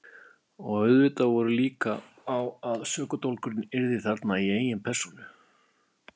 Og auðvitað voru líkur á að sökudólgurinn yrði þarna í eigin persónu.